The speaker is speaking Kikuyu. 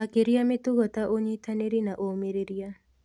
Makĩria mĩtugo ta ũnyitanĩri na ũmĩrĩria.